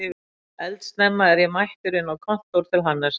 Eldsnemma er ég mættur inn á kontór til Hannesar